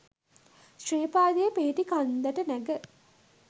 ශ්‍රීපාදය පිහිටි කන්දට නැග